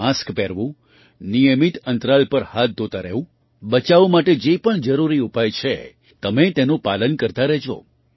mask પહેરવું નિયમિત અંતરાલ પર હાથ ધોતા રહેવું બચાવ માટે જે પણ જરૂરી ઉપાય છે તમે તેનું પાલન કરતા રહેજો